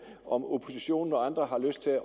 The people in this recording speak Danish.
om oppositionen og andre har lyst til